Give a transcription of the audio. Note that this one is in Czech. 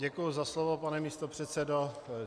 Děkuji za slovo, pane místopředsedo.